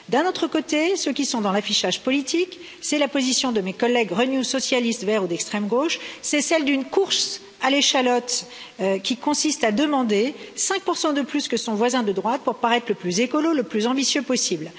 D'un autre côté, il y a ceux qui sont dans l'affichage politique, c'est la position de mes collègues Renew, Socialistes, Verts ou d'extrême gauche, c'est celle d'une course à l'échalote qui consiste à demander 5 de plus que son voisin de droite pour paraître le plus écolo, le plus ambitieux possible.